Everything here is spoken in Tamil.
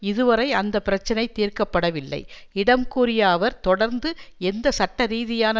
இதுவரை அந்த பிரச்சனை தீர்க்க படவில்லை இடம் கூறிய அவர் தொடர்ந்து எந்த சட்டரீதியான